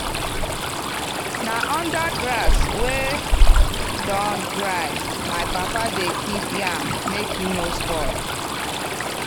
na under grass wey don dry my papa dey keep yam make e no spoil.